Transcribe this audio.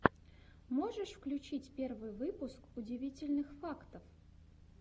можешь включить первый выпуск удивительных фактов